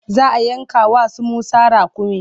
Za a yanka wa su Musa raƙumi.